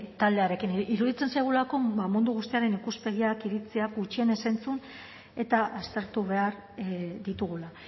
taldearekin iruditzen zaigulako ba mundu guztiaren ikuspegiak iritziak gutxienez entzun eta aztertu behar ditugula